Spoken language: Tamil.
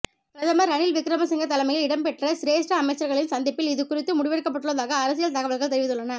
பிரதமர் ரணில்விக்கிரமசிங்க தலைமையில் இடம்பெற்ற சிரேஸ்ட அமைச்சர்களின் சந்திப்பில் இது குறித்து முடிவெடுக்கப்பட்டுள்ளதாக அரசியல் தகவல்கள் தெரிவித்துள்ளன